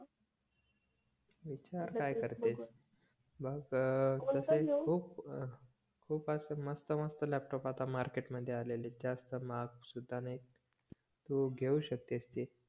विचार काय करतेस बघ खूप खूप अस मस्त मस्त लॅपटॉप आता मार्केट आले आहेत जास्त महाग सुद्धा नाहित्त तू घेवू शकतेस ते